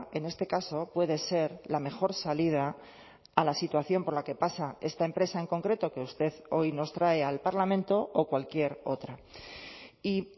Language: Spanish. en este caso puede ser la mejor salida a la situación por la que pasa esta empresa en concreto que usted hoy nos trae al parlamento o cualquier otra y